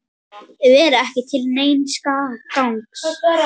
Vera ekki til neins gagns.